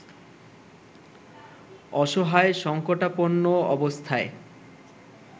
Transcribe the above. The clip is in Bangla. অসহায় সঙ্কটাপন্ন অবস্থায়